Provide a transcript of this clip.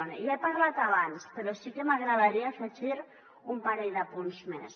ja n’he parlat abans però sí que m’agradaria afegir un parell d’apunts més